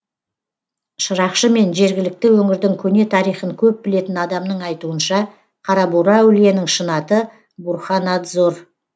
шырақшы мен жергілікті өңірдің көне тарихын көп білетін адамның айтуынша қарабура әулиенің шын аты бурханадзор